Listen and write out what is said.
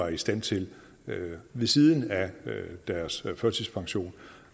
i stand til ved siden af deres førtidspension